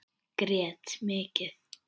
Grét mikið.